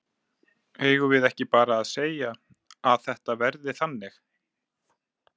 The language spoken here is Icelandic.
Eigum við ekki bara að segja að þetta verði þannig?